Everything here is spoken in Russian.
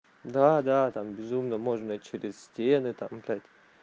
да да там безумно можно через стены там блять